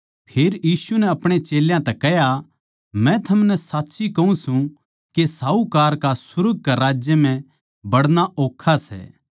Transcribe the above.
फेर यीशु नै अपणे चेल्यां तै कह्या मै थमनै साच्ची कहूँ सूं के साहूकार का सुर्ग के राज्य म्ह बड़ना ओक्खा सै